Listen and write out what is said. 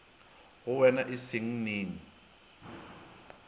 go wean e seng neng